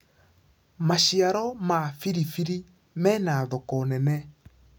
maciaro ma biribiri mena thoko nene